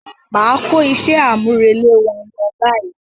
Máa kó iṣẹ́ àmúrelé wa lọ báyìí.